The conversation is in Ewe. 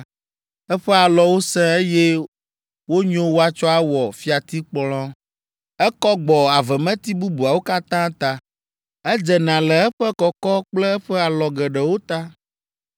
Eƒe alɔwo sẽ, eye wonyo woatsɔ awɔ fiatikplɔ. Ekɔ gbɔ avemeti bubuawo katã ta, edzena le eƒe kɔkɔ kple eƒe alɔ geɖewo ta.